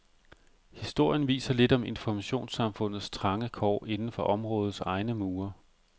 Historien viser lidt om informationssamfundets trange kår inden for områdets egne mure.